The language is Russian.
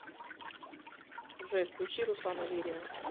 джой включи руслана верина